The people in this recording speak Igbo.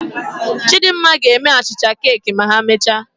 Chidimma ga-eme achịcha keeki ma emechaa